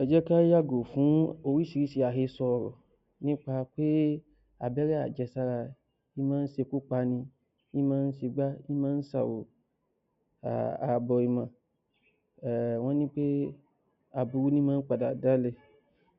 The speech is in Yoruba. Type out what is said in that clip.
‎Ẹ jẹ́ ká yàgò fún orísìírísìí àhesọ ọ̀rọ̀ nípa pé ábẹ́rẹ́ àjẹsára máa ń ṣekú pani, í máa ń ṣe gbá, í máa ń ṣe àwo àbọ̀ ìmọ̀ wọ́n ní aburú níí padà dáále.